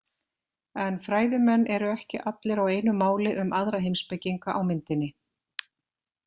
En fræðimenn eru ekki allir á einu máli um aðra heimspekinga á myndinni.